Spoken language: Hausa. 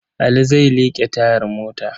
Ali zai liƙe tayar mota.